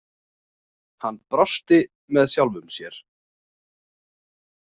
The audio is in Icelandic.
Hann brosti með sjálfum sér.